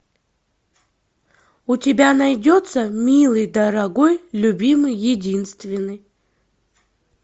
у тебя найдется милый дорогой любимый единственный